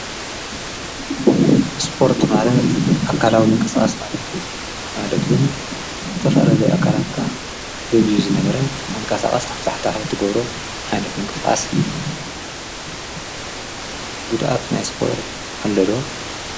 ስጶርት ማረ ኣካላዊ ምንቀሥኣስ ማለቱ ኣለቱን ዘተፈላለ ኣካላትቃ ደብዙ ዝነበረ ሓንቃሳቓስ ናፍታሕታሕለ ትጐብሮ ኃይነት ምንቀስዓስ እዩ ጉድኣት ናይ ስጶርት ኣለዶ?